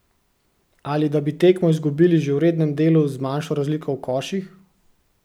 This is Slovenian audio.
Ali da bi tekmo izgubili že v rednem delu z manjšo razliko v koših?